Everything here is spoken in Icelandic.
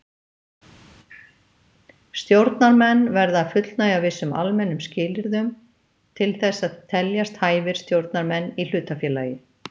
Stjórnarmenn verða að fullnægja vissum almennum skilyrðum til þess að teljast hæfir stjórnarmenn í hlutafélagi.